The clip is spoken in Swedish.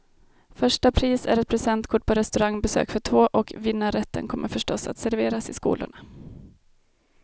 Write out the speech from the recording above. Första pris är ett presentkort på restaurangbesök för två, och vinnarrätten kommer förstås att serveras i skolorna.